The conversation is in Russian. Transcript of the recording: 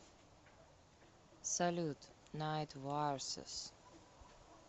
салют найт варсес